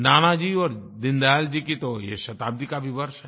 नानाजी और दीनदयाल जी की तो ये शताब्दी का भी वर्ष है